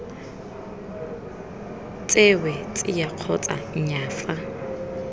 tsewe tsia kgotsa nnyaa fa